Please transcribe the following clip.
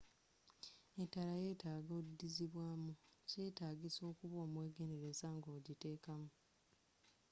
etaala yyetaga odizibwamu.kyetagisa okuba omwegendereza nga ogiteka mu